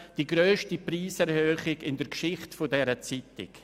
Es handelt sich um die grösste Preiserhöhung in der Geschichte dieser Zeitung.